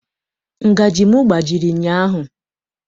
Ngajị m gbajiri ụnyaahụ.